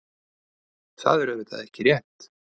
Það er auðvitað ekki rétt.